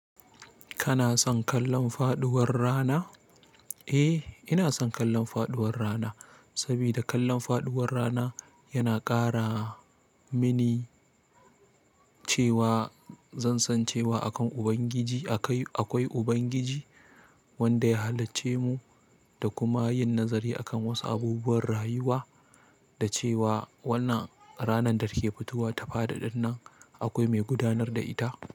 Kana son kallon faɗuwar rana? Eh, ina son kallon faɗuwar rana, sabida kallon faɗuwar rana yana ƙara mini cewa zan san cewa akan Ubangiji akai, akwai Ubangiji wanda ya halicce mu da kuma yin nazari akan wasu abubuwan rayuwa da cewa wannan ranar da ke fitowa ta faɗi ɗinnan akwai mai gudanar da ita.